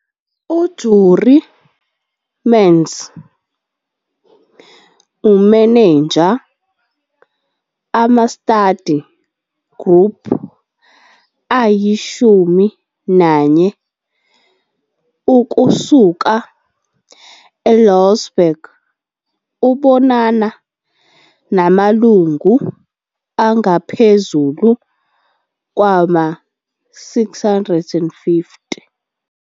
U-Jurie Mentz umeneja ama-study group ayishumi nanye ukusuka e-Louwsburg ubonana namalungu angaphezulu kwama-650.